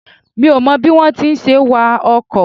Mi ò mọ bí wón ti ń ṣe wa ọkọ̀.